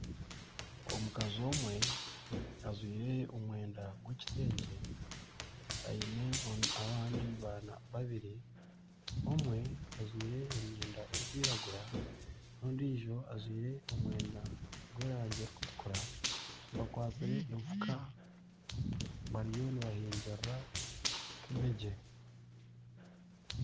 Omukazi omwe ajwaire omwenda gw'ekitengye aine abandi baana babiri omwe ajwaire emyenda erikwiragura n'ondiijo ajwaire omwenda gwerangi erikutukura bakwatsire enfuka bariyo nibahingirira kabegi